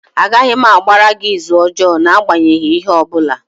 Agaghị m agbara gị ịzụ ọjọọ n'agbanyeghị ihe ọ bụla.